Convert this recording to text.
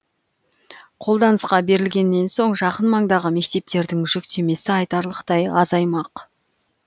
қолданысқа берілгеннен соң жақын маңдағы мектептердің жүктемесі айтарлықтай азаймақ